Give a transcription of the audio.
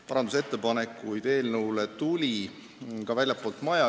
Parandusettepanekuid tuli ka väljastpoolt maja.